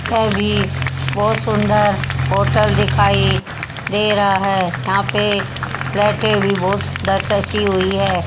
ये भी बहोत सुंदर होटल दिखाई दे रहा है यहां पे लाइटें भी बहोत ढांचसि हुई है।